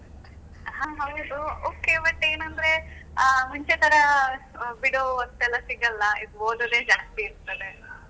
ಹಾ ಹೌದು okay but , ಏನಂದ್ರೆ ಆ ಮುಂಚೆ ತರಾ ಬಿಡೋ ಹೊತ್ತೆಲ್ಲ ಸಿಗಲ್ಲ ಈಗ ಓದುದೇ ಜಾಸ್ತಿ ಇರ್ತದೆ .